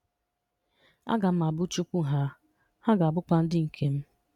A ga m Abu Chukwu ha, ha ga abukwa ndị nke m.